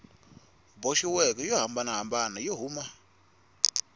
boxiweke yo hambanahambana yo huma